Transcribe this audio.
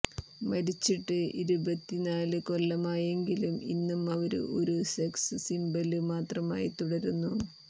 മരിച്ചിട്ട് ഇരുപത്തിനാല് കൊല്ലമായെങ്കിലും ഇന്നും അവര് ഒരു സെക്സ് സിംബല് മാത്രമായി തുടരുന്നു